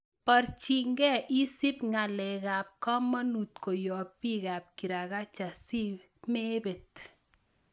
Borchingei isip ngalekab komonut koyob bikab kirakacha simebet.